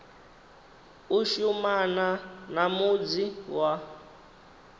u shumana na mudzi wa